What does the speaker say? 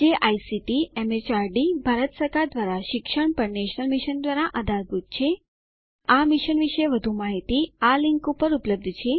જે ICT MHRD Bharat સરકાર દ્વારા શિક્ષણ પર નેશનલ મિશન દ્વારા આધારભૂત છે આ મિશન વિશે વધુ માહીતી આ લીંક ઉપર ઉપલબ્ધ છે